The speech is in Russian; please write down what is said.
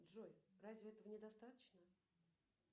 джой разве этого не достаточно